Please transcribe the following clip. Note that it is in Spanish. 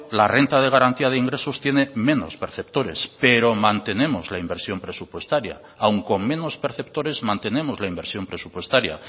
la renta de garantía de ingresos tiene menos perceptores pero mantenemos la inversión presupuestaria aun con menos perceptores mantenemos la inversión presupuestaria